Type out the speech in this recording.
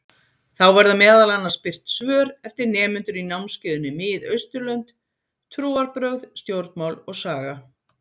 Þá verða meðal annars birt svör eftir nemendur í námskeiðinu Mið-Austurlönd: Trúarbrögð, stjórnmál og saga.